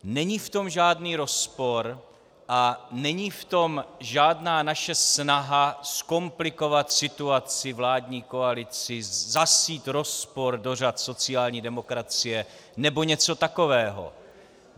Není v tom žádný rozpor a není v tom žádná naše snaha zkomplikovat situaci vládní koalici, zasít rozpor do řad sociální demokracie nebo něco takového.